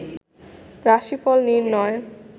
রাশিফল নির্ণয়